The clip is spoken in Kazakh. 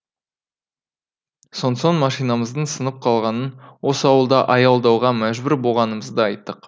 сонсоң машинамыздың сынып қалғанын осы ауылда аялдауға мәжбүр болғанымызды айттық